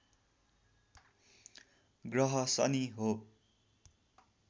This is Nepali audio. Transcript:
ग्रह शनि हो